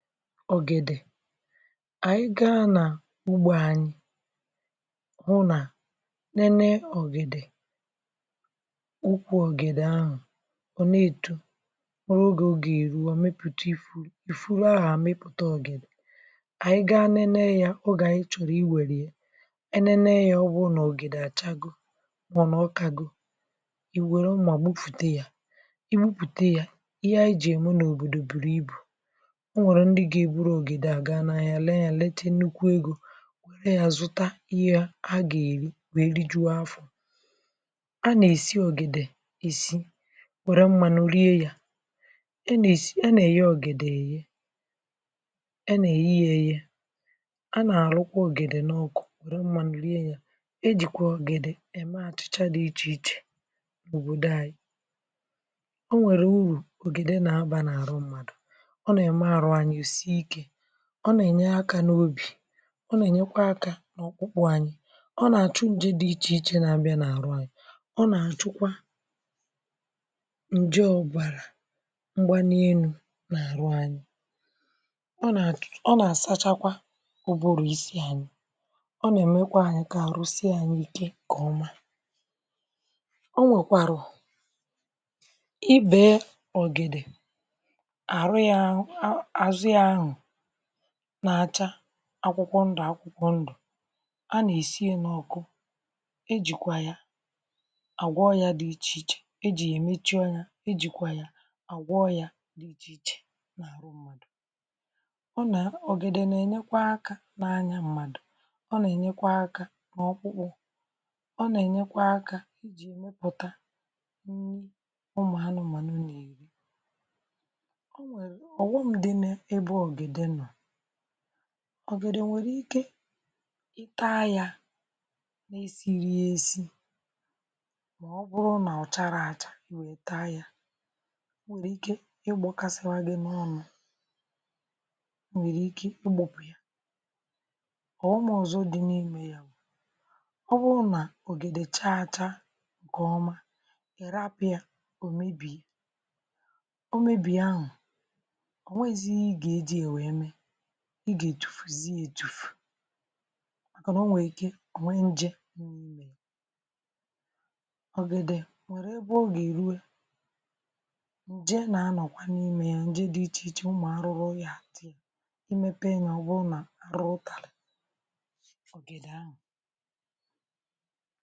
Ogèdè anyị̀ gà nà ugbò anyị̀ hụ̀ nà na-emè ọgèdè ukwù ọgèdè ahụ̀ ọ na-etò nwerè ogè ọ ga-eruò o meputà ihe ifurù ahụ̀ amịpụtà ọgèdè anyị̀ gaa nenè yà ogè anyị̀ chọrọ̀ iwerè yà enenè yà, ọ bụ̀ nà ọgèdè achagò mà nà ọkagò i werè mmā gbufùtà yà i gwùputè yà ihe anyị̀ jì emè n’òbodò burù ibù o nwerè ndị̀ ga-eburù ọgèdè a gaa n’ahịà lee yà letà nnukwù egō lee yà zụtà ihe a ga-erì wee lijuò afọ̀ a na-esì ogèdè isì werè mmanụ̀ riè yà a na-esì. A na-eghè ọgèdè eghè a na-eghè yà eghè a na-arụkwà ọgèdè n’ọkụ̀ werè mmanụ̀ riè yà e jìkwà ọgèdè emè achịchà dị̀ iche ichè n’òbodò anyị̀ o nwerè ọgèdè na-abà na-arụ̀ mmadụ̀ ọ na-emè arụ esiè ike ọ na-enyè aka n’obì ọ na-enyèkwà aka n’ọkpụkpụ̀ anyị̀ ọ na-achụ̀ njè dị̀ iche ichè na-abịà n’arụ̀ anyị̀ ọ na-achụ̀kwà njọ̀ ọbarà m̄gbànì enù n’arụ̀ ọ na-atụ̀ ọ na-asachakwà ụbụrụ̀ isi anyị̀ ọ na-emèkwà anyị̀ kà arụ̀ siè anyị̀ ike nkè ọmà o nwekwarụ̀ i bē ọgèdè arụ̀ yà um, azụ̀ yà ahụ̀ na-achà akwụkwọ̀ ndụ̀ akwụkwọ̀ ndụ̀ a na-esì yà n’ọkụ̀ e jìkwà yà agwọ̀ ọyà dị̀ iche ichè e jì yà emechì ọnyà e jikwà yà agwọ̀ ọyà ọ nà, ọgèdè na-enyekwà aka n’anya mmadụ̣̀ ọ na-enyekwà aka n’ọkpụkpụ̀ ọ na-enyekwà aka pụtà ụmụ̀ anụ̀mànụ̀ nnì ọghọm dị̀ n’ebe ọgèdè nọ̀ ọgèdè nwerè ike taa yà sirì yà esì maọ̀bụ̀rụ̀ nà ọ charà achà taa yà nwerè ike ịgbọkàsịwà gị̀ n’ọnụ̀ o nwerè ike ịgbọ̀ ọghọm ọzọ̀ dị̀ n’imè ọ bụrụ̀ nà ọgèdè chaa achà nkè ọmà rapụ̀ yà o mebiè o mebiè ahụ̀ o nweghìzì ihe ị gà ejì yà wee mee ị ga-ejufuzì yà ejufù mànà o nwè ike o nwè njè ọgèdè ogè eruè jee na-anọ̀ hà n’ime yà ndị̀ dị̀ iche ichè, ụmụ̀ arụrụ̀ yà dị̀ i mepe yà ọ bụrụ̀ nà rụtalà